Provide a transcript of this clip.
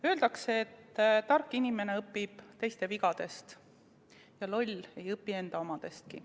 Öeldakse, et tark inimene õpib teiste vigadest, loll ei õpi enda omadestki.